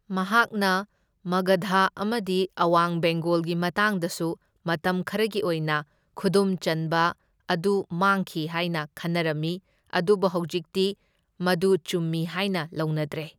ꯃꯍꯥꯛꯅ ꯃꯒꯙꯥ ꯑꯃꯗꯤ ꯑꯋꯥꯡ ꯕꯦꯡꯒꯣꯜꯒꯤ ꯃꯇꯥꯡꯗꯁꯨ ꯃꯇꯝ ꯈꯔꯒꯤ ꯑꯣꯏꯅ ꯈꯨꯗꯨꯝ ꯆꯟꯕ ꯑꯗꯨ ꯃꯥꯡꯈꯤ ꯍꯥꯏꯅ ꯈꯟꯅꯔꯝꯃꯤ, ꯑꯗꯨꯕꯨ ꯍꯧꯖꯤꯛꯇꯤ ꯃꯗꯨ ꯆꯨꯝꯃꯤ ꯍꯥꯏꯅ ꯂꯧꯅꯗ꯭ꯔꯦ꯫